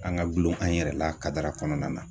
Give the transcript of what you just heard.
An ga gulon an yɛrɛ la kadara kɔnɔna na